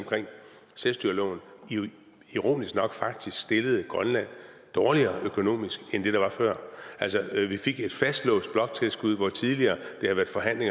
selvstyreloven ironisk nok faktisk stillede grønland dårligere økonomisk end før vi fik et fastlåst bloktilskud hvor det tidligere har været forhandlet